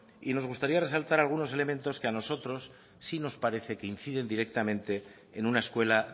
y nos gustaría resaltar algunos elementos que a nosotros sí nos parece que inciden directamente en una escuela